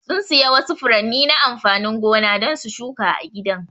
Sun siya wasu furanni na amfanin gona don su shuka a gidan.